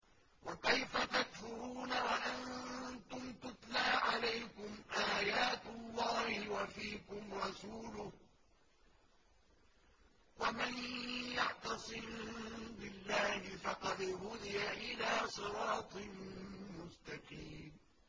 وَكَيْفَ تَكْفُرُونَ وَأَنتُمْ تُتْلَىٰ عَلَيْكُمْ آيَاتُ اللَّهِ وَفِيكُمْ رَسُولُهُ ۗ وَمَن يَعْتَصِم بِاللَّهِ فَقَدْ هُدِيَ إِلَىٰ صِرَاطٍ مُّسْتَقِيمٍ